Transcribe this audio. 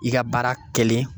I ka baara kɛlen